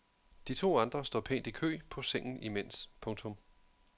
De to andre står pænt i kø på sengen imens. punktum